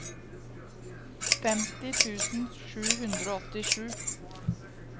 femti tusen sju hundre og åttisju